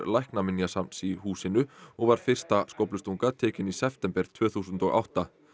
Læknaminjasafns í húsinu og var fyrsta skóflustunga tekin í september tvö þúsund og átta